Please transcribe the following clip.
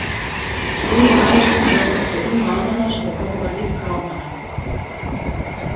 Hinir ávaxtirnir eru á bak við Imma ananas og horfa líka á hana.